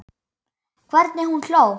Hvernig hún hló.